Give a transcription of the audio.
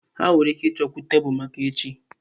Ha nwere ike ịchọkwu tebụl maka echi.